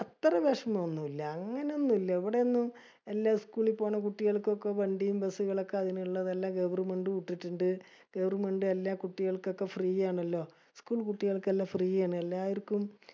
അത്ര വിഷമോം ഒന്നുല്ല. അങ്ങിനെ ഒന്നുല്ല. ഇവിടെ ഒന്നും എല്ലാ school ളിൽ പോണ കുട്ടികൾക്കൊക്കെ വണ്ടിയും bus സ്സുകൾ ഒക്കെ അതിനുള്ളതെല്ലാം Government വിട്ടിട്ടിണ്ട്. Government എല്ലാ കുട്ടികൾക്കൊക്കെ free ആണല്ലോ. School കുട്ടികൾക്കെല്ലാം free ആണ്. എല്ലാവർക്കും